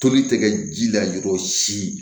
Toli tɛ kɛ ji la jɔ si